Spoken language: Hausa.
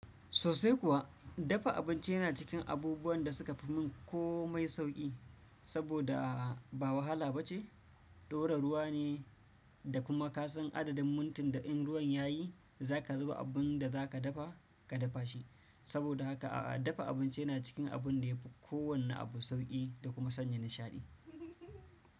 Sosai kuwa, dafa abinci yana cikin abubuwan da suka fi mun komai sauki, saboda ba wahala ba ce, ɗora ruwa ne da kuma ka san adadin mintin da in ruwan yayi za ka zuba abun da za ka dafa ka dafa shi. Saboda haka a'a, dafa abinci yana cikin abun da yafi kowane abu sauki da kuma sanya nishaɗi.